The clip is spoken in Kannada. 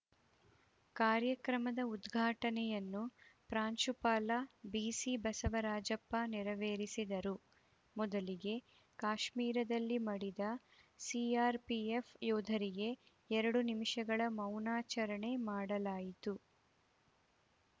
ಕಾರ್ಯಕ್ರಮದ ಉದ್ಘಾಟನೆಯನ್ನು ಪ್ರಾಂಶುಪಾಲ ಬಿಸಿ ಬಸವರಾಜಪ್ಪ ನೆರವೇರಿಸಿದರು ಮೊದಲಿಗೆ ಕಾಶ್ಮೀರದಲ್ಲಿ ಮಡಿದ ಸಿಆರ್‌ಪಿಎಫ್‌ ಯೋಧರಿಗೆ ಎರಡು ನಿಮಿಷಗಳ ಮೌನಾಚರಣೆ ಮಾಡಲಾಯಿತು